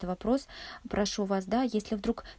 то вопрос прошу вас да если вдруг